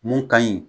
Mun ka ɲi